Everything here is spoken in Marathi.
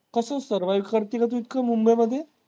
कसं survive करतील ओ ते mumbai मधे?